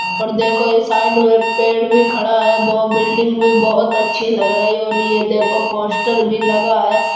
और देखो ये साइड में पेड़ भी खड़ा है। बो बिल्डिंग भी बहोत अच्छी लग रही है और ये देखो पोस्टर भी लगा है।